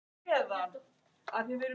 Hann kom inn í hana.